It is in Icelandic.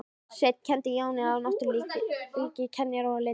Sveinn kenndi Jóni á náttúrunnar ríki, kenjar og leyndardóma.